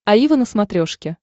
аива на смотрешке